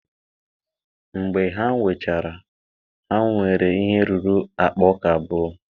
mgbe ha wechara, ha nwere ihe ruru akpa ọka abụọ